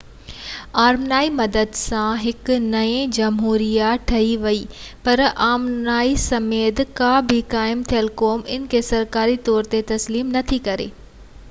آرمينيائي مدد سان هڪ نئين جمهوريه ٺهي وئي.پر آرمينيا سميت ڪا به قائم ٿيل قوم ان کي سرڪاري طور تي تسليم نٿي ڪري